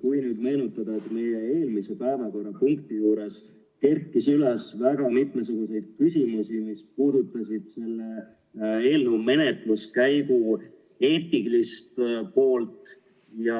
Kui nüüd meenutada, et meie eelmise päevakorrapunkti juures kerkis üles väga mitmesuguseid küsimusi, mis puudutasid selle eelnõu menetluskäigu eetilist poolt ja